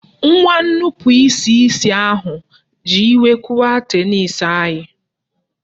Nwa nnupụisi isi ahụ ji iwe kụwaa tenisi anyị